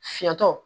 Fiyɛtɔ